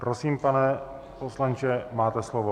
Prosím, pane poslanče, máte slovo.